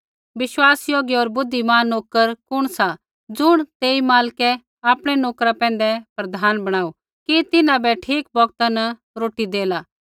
विश्वासयोग्य होर बुद्धिमान नोकर कुण सा ज़ुण तेई मालकै आपणै नोकरा पैंधै प्रधान बणाऊ कि तिन्हां बै ठीक बौगता न रोटी देला